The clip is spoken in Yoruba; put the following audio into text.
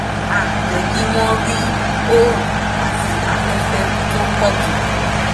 á jẹ́ kí wọ́n rí oòrùn àti afẹ́fẹ́ tó pọ̀ tó